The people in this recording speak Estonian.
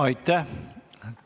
Aitäh!